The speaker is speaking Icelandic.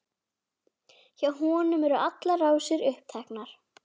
Hjá honum eru allar rásir uppteknar.